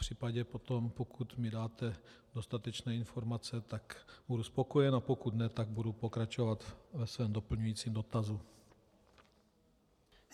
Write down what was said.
Popřípadě potom, pokud mi dáte dostatečné informace, tak budu spokojen, a pokud ne, tak budu pokračovat ve svém doplňujícím dotazu.